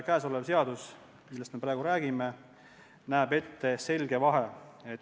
Seadus, millest me praegu räägime, näeb ette selge vahe.